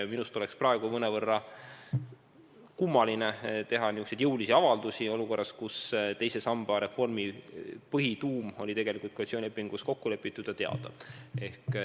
Minust oleks praegu mõnevõrra kummaline teha niisuguseid jõulisi avaldusi olukorras, kus teise samba reformi põhituum oli koalitsioonilepingus kokku lepitud ja teada.